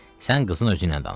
Sən qızın özü ilə danış.